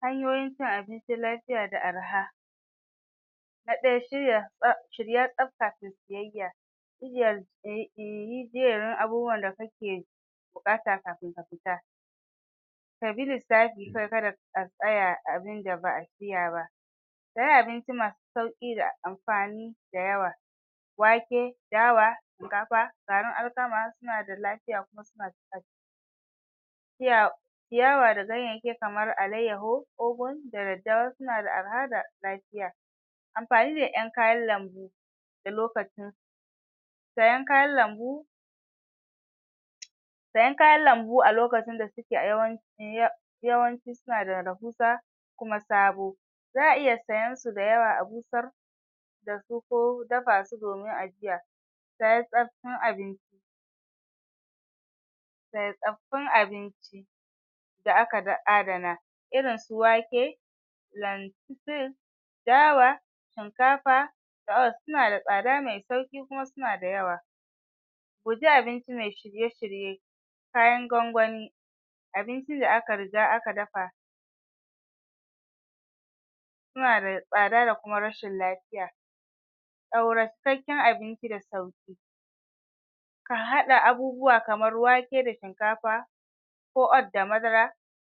hanyoyin cin abinci lafiya da arha na ɗaya shirya shirya tsaf kafin siyayya yi jeren abubuwan da kake buƙata kafin ka fita ka bi lissafi kar ka da ka tsaya abinda ba'a shirya ba kayi abinci masu sauƙi da amfani da yawa wake, dawa shinkafa. garin alkama suna da lafiya kuma suna ciyawa da ganyayyaki kamar alayyahu ogun da daddawa suna da arha da lafiya amfani da ƴan kayan lambu da lokacin sayan kayan lambu sayan kayan lambu a lokacin da suke yawanci suna da rahusa kuma sabo za'a iya siyan su da yawa a busar da su ko dafa su domin ajiya tayi tsaf da aka adana irin su wake lentils dawa shinkafa suna da tsada me sauƙi kuma suna da yawa guji abinci me shirye-shirye kayan gwangwani abinci da aka riga aka dafa suna da tsada da kuma rashin lafiya cikakken abinci da sauƙi ka haɗa abubuwa kamar wake da shinkafa ko oat da madara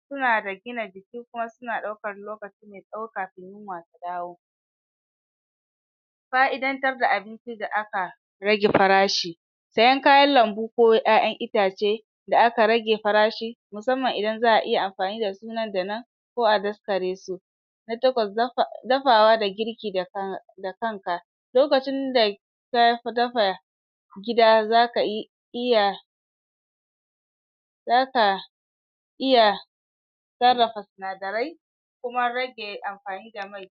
suna da gina jiki kuma suna ɗaukar lokaci me tsawo kafin yunwa ta dawo fa'idantar da abinci da aka rage farashi sayan kayan lambu ko ƴaƴan itace da aka rage farashi musamman idan za'a iya amfani da su nan da nan ko a daskare su na takwas dafawa da girki da da kanka lokacin da ka dafa gida zaka iya za ka iya sarrafa sinadarai kuma rage amfani da mai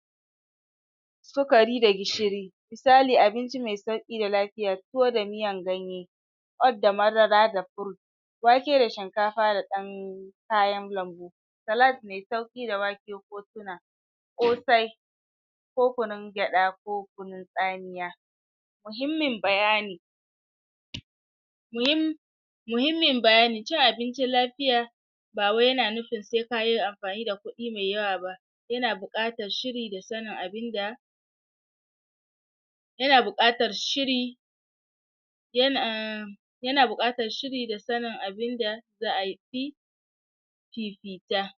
sukari da gishiri misali abinci me sauƙi da lafiya tuwo da miyan ganye oat da madara da fruit wake da shinkafa da ɗan kayan lambu salad me sauƙi da wake ko tuna ƙosai ko kunun gyaɗa ko kunun tsamiya muhimmin bayani muhimmin bayani cin abincin lafiya ba wai yana nufin se kayi amfani da kuɗi me yawa ba yana buƙatar shiri da sanin abinda yana buƙatar shiri um yana buƙatar shiri da sanin abinda za'a fifita